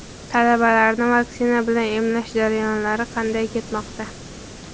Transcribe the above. Talabalarni vaksina bilan emlash jarayonlari qanday ketmoqda?.